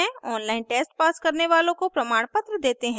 online test pass करने वालों को प्रमाणपत्र देते हैं